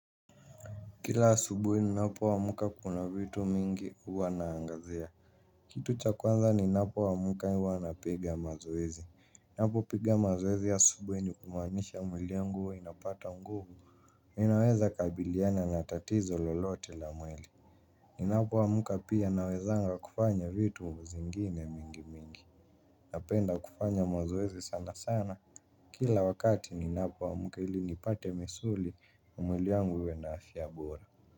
Kila asubuhi ninapo amka kuna vitu mingi huwa naangazia. Kitu cha kwanza ninapo amka huwa napiga mazoezi. Napo piga mazoezi asubuhi ni kumaanisha mwili yangu huwa inapata nguvu. Ninaweza kabiliana na tatizo lolote la mwili. Ninapo amka pia nawezanga kufanya vitu zingine mingi mingi napenda kufanya mazoezi sanasana. Kila wakati ninapo amka ili nipate misuli na mwili wangu iwe na afya bora.